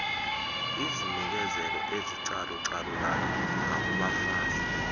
izinikezelo ezicalucalulayo ngakubafazi